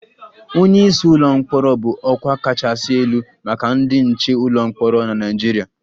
Onye isi ụlọ mkpọrọ bụ ọkwa kachasị elu maka ndị nche ụlọ mkpọrọ na Nigeria